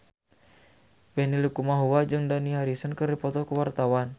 Benny Likumahua jeung Dani Harrison keur dipoto ku wartawan